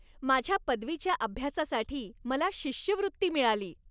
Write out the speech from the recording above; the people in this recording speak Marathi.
माझ्या पदवीच्या अभ्यासासाठी मला शिष्यवृत्ती मिळाली!